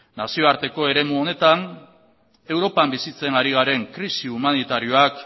nazioarteko eremu honetan europan bizitzen ari garen krisi humanitarioak